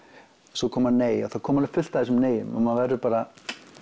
svo koma nei og það koma alveg fullt af þessum nei um og maður verður bara